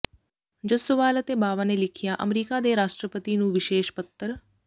ਜੱਸੋਵਾਲ ਅਤੇ ਬਾਵਾ ਨੇ ਲਿਖਿਆ ਅਮਰੀਕਾ ਦੇ ਰਾਸ਼ਟਰਪਤੀ ਨੂੰ ਵਿਸ਼ੇਸ਼ ਪੱਤਰ